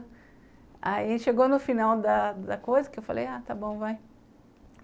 Aí ele chegou no final da da coisa, que eu falei, ah, está bom, vai.